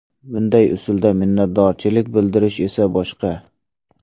Bunday usulda minnatdorchilik bildirish esa boshqa.